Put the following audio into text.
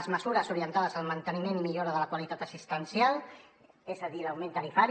les mesures orientades al manteniment i millora de la qualitat assistencial és a dir l’augment tarifari